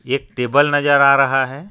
एक टेबल नजर आ रहा है.